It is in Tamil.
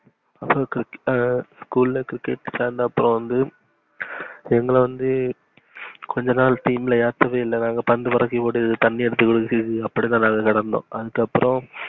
அப்புறம் cricket அஹ் school ல cricket சேர்ந்த அப்புறம் வந்து, எங்கள வந்து கொஞ்சநாள் team ல யாத்ததே இல்ல நாங்க பந்து பொருக்கி போட்டுக்கிட்டு தண்ணி எடுத்து குதுக்குறது அபுடிதான் நடந்தோம். அதுக்கு அப்புறம்,